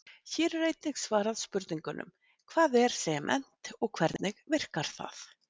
Hér er einnig svarað spurningunum: Hvað er sement og hvernig virkar það?